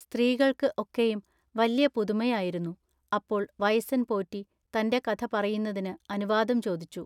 സ്ത്രീകൾക്കു ഒക്കെയും വല്യപുതുമയായിരുന്നു. അപ്പോൾ വയസ്സൻപോറ്റി തന്റെ കഥ പറയുന്നതിനു അനുവാദം ചോദിച്ചു.